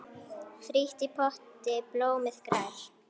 Frítt í potti blómið grær.